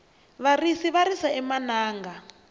varisi va risa emananga